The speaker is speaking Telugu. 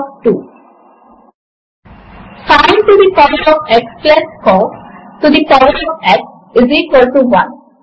అలాగే 4 డివైడెడ్ బై 4 ఈక్వల్స్ 1 అని వ్రాయడము కొరకు మార్క్ యూపీ 4 ఓవర్ 4 ఈక్వల్స్ 1 అని ఉంటుంది